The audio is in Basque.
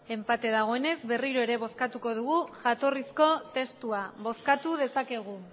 enpate dagoenez berriro ere bozkatuko dugu jatorrizko testua bozkatu dezakegu